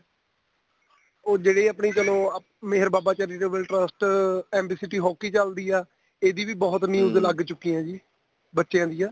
ਉਹ ਜਿਹੜੀ ਆਪਣੀ ਚਲੋ Mehar Baba charitable trust MB city hokey ਚੱਲਦੀ ਆ ਈਦੀ ਵੀ ਬਹੁਤ news ਲੱਗ ਚੁਕੀ ਆ ਜੀ ਬੱਚਿਆ ਦੀਆਂ